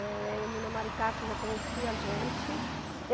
É, Erminia Maricato já conhecia a gente.